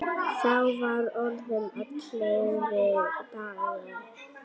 Þá var orðið áliðið dags.